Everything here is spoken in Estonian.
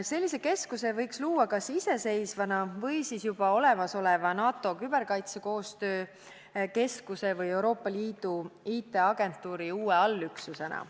Sellise keskuse võiks luua kas iseseisvana või siis juba olemasoleva NATO Küberkaitsekoostöö Keskuse või Euroopa Liidu IT-agentuuri uue allüksusena.